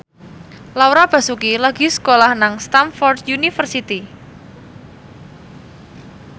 Laura Basuki lagi sekolah nang Stamford University